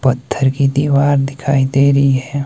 पत्थर की दीवार दिखाई दे रही है।